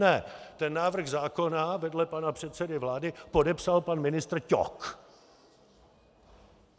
Ne, ten návrh zákona vedle pana předsedy vlády podepsal pan ministr Ťok!